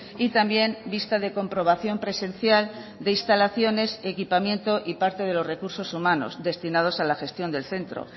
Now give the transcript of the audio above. y también vista de comprobación presencial de instalaciones equipamiento y parte de los recursos humanos destinados a la gestión del centro